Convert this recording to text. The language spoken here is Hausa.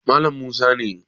Malam musa ne